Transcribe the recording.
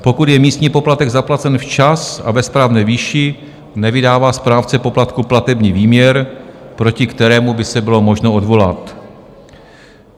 Pokud je místní poplatek zaplacen včas a ve správné výši, nevydává správce poplatku platební výměr, proti kterému by se bylo možno odvolat.